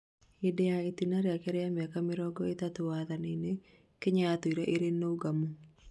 hĩndĩ ya itĩna rĩake rĩa mĩaka mĩrongo ĩtatũ wathanĩ-nĩ, Kenya yatũrire ĩrĩ nũgamũ